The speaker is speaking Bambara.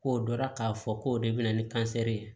K'o dɔn k'a fɔ k'o de bɛ na ni ye